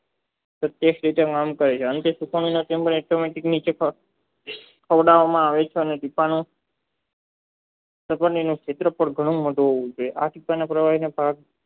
પ્રત્યેક્ષ પોતાના તથા ખોદવમાં આવે છે અને ક્ષેત્રફળ ઘન હોવું જોઇએ